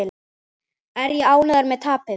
Er ég ánægður með tapið?